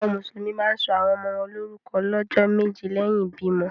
Awọn musulumi ma ǹ sọ awọn ọmọ wọn lorukọ lọjọ meje lẹhin ibimọ.